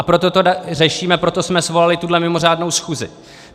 A proto to řešíme, proto jsme svolali tuhle mimořádnou schůzi.